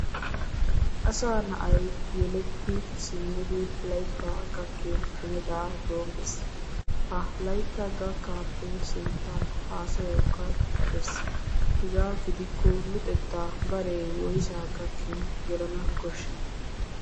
Asaa na"ay yeletti simmidi laytta gakkin hemetaa doommes. Ha laytta gakkaappe sinttan haasayawukka dirbbees. Hegaa gidikko luxettaa baree woysaa gakkin gelana koshshii?